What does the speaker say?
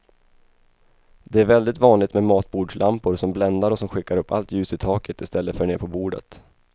Det är väldigt vanligt med matbordslampor som bländar och som skickar upp allt ljus i taket i stället för ner på bordet.